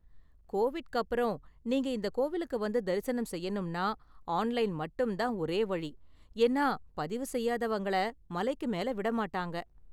கோவிட்க்கு அப்பறம், நீங்க இந்த கோவிலுக்கு வந்து தரிசனம் செய்யணும்னா ஆன்லைன் மட்டும் தான் ஒரே வழி, ஏன்னா பதிவு செய்யாதவங்கள மலைக்கு மேல விட மாட்டாங்க.